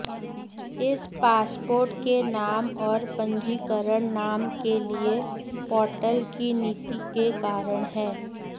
इस पासपोर्ट के नाम और पंजीकरण नाम के लिए पोर्टल की नीति के कारण है